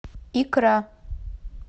икра